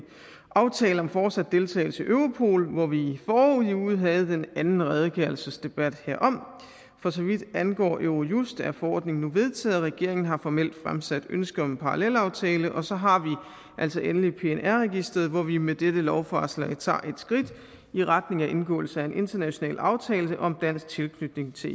aftale om fortsat deltagelse i europol hvor vi i forrige uge havde den anden redegørelsesdebat herom for så vidt angår eurojust er forordningen nu vedtaget og regeringen har formelt fremsat ønske om en parallelaftale og så har vi altså endelig pnr registreret hvor vi med dette lovforslag tager et skridt i retning af indgåelse af en international aftale om dansk tilknytning til